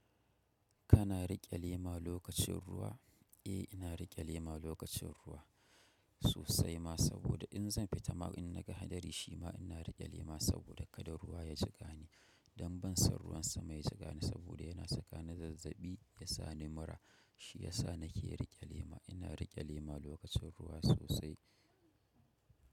Kana riƙe lema lokacin ruwa? Eh, ina riƙe lema lokacin ruwa sosai ma, saboda in zan fita ma in na ga hadari shima ina riƙe lema saboda kada ruwa ya jiƙani. Don ban san ruwan sama ya jiƙa ni saboda yana saka ni zazzaɓi, ya sa ni mura, shi ya sa nake riƙe lema. Ina riƙe lema lokacin ruwa sosai.